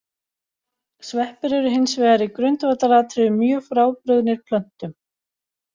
Sveppir eru hins vegar í grundvallaratriðum mjög frábrugðnir plöntum.